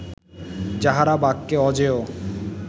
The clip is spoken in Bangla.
যাঁহারা বাক্যে অজেয়